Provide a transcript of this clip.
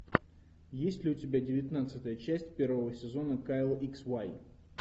есть ли у тебя девятнадцатая часть первого сезона кайл икс вай